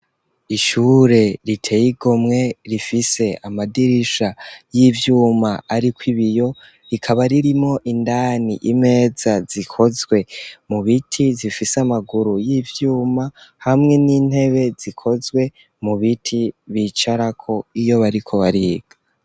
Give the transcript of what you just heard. Ishure riteye igomwe rifise amadirisha y'ivyuma ariko ibiyo, rikaba ririmwo indani imeza zikozwe mu biti, zifise amaguru y'ivyuma hamwe n'intebe zikozwe mu biti, bicarako iyo bariko bariga.